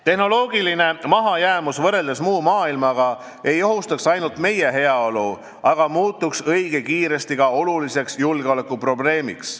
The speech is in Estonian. Tehnoloogiline mahajäämus võrreldes muu maailmaga ei ohustaks ainult meie heaolu, vaid muutuks õige kiiresti ka oluliseks julgeolekuprobleemiks.